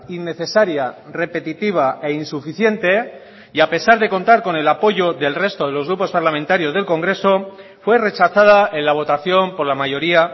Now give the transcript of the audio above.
innecesaria repetitiva e insuficiente y a pesar de contar con el apoyo del resto de los grupos parlamentarios del congreso fue rechazada en la votación por la mayoría